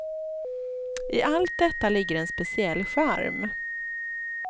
I allt detta ligger en speciell charm.